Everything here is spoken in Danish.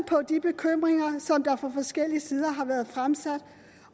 på de bekymringer som der fra forskellige sider har været fremsat